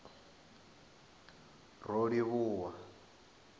rolivhuwa